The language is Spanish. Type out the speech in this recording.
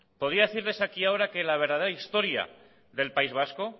podía decirles aquí ahora que la verdadera historia del país vasco